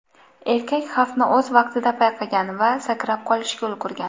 Erkak xavfni o‘z vaqtida payqagan va sakrab qolishga ulgurgan.